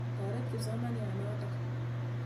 Toret kipsomaniat notok.